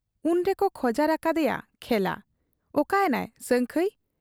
ᱩᱱᱨᱮᱠᱚ ᱠᱷᱚᱡᱟᱨ ᱟᱠᱟᱫ ᱮᱭᱟ ᱠᱷᱮᱞᱟ ᱾ ᱚᱠᱟ ᱮᱱᱟᱭ ᱥᱟᱹᱝᱠᱷᱟᱹᱭ ?